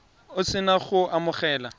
o se na go amogela